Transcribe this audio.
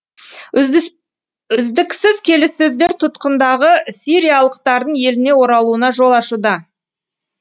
үздіксіз келіссөздер тұтқындағы сириялықтардың еліне оралуына жол ашуда